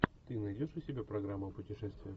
ты найдешь у себя программу о путешествиях